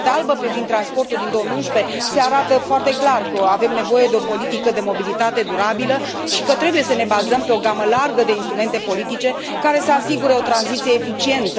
În Cartea albă privind transportul din 2011 se arată foarte clar că avem nevoie de o politică de mobilitate durabilă și că trebuie să ne bazăm pe o gamă largă de instrumente politice, care să asigure o tranziție eficientă.